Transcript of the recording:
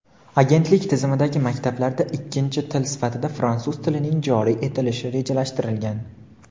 Agentlik tizimidagi maktablarda ikkinchi til sifatida fransuz tilining joriy etilishi rejalashtirilgan.